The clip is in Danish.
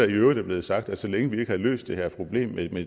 i øvrigt er blevet sagt at så længe vi ikke har løst det her problem